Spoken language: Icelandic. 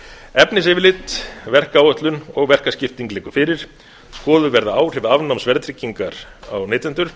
efnisyfirlit verkáætlun og verkaskipting liggur fyrir skoðuð verða áhrif afnáms verðtryggingar á neytendur